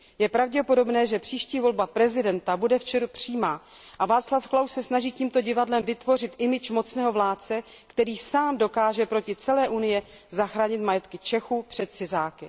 Je pravděpodobné, že příští volba prezidenta bude v ČR přímá a Václav Klaus se snaží tímto divadlem vytvořit image mocného vládce, který sám dokáže proti celé Unii zachránit majetky Čechů před cizáky.